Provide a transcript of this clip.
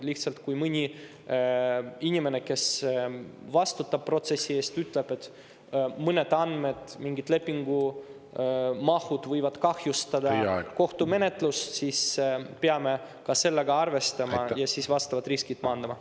Lihtsalt, kui mõni inimene, kes vastutab protsessi eest, ütleb, et mõned andmed, mingid lepingumahud võivad kahjustada kohtumenetlust, siis peame sellega arvestama ja vastavalt riskid maandama.